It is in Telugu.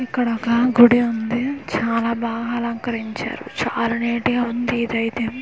ఇక్కడ ఒక గుడి ఉంది చాలా బాగా అలంకరించారు చాలా నీట్ గా ఉంది ఇదైతే .]